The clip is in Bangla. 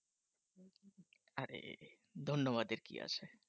আরে ধন্যবাদ এর কি আছে